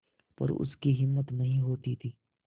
पर उसकी हिम्मत नहीं होती थी